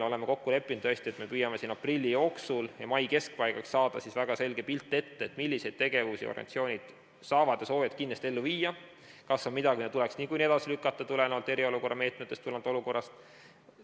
Oleme kokku leppinud, tõesti, et me püüame aprilli jooksul ja mai keskpaigaks saada väga selge pildi ette, milliseid tegevusi organisatsioonid saavad ja soovivad kindlasti ellu viia, kas on midagi, mida tuleks niikuinii edasi lükata tulenevalt eriolukorra meetmetest, tulenevalt olukorrast.